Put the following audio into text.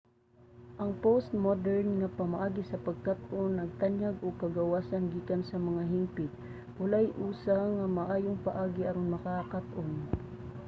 ang postmodern nga pamaagi sa pagkat-on nagtanyag og kagawasan gikan sa mga hingpit. walay usa nga maayong paagi aron makakat-on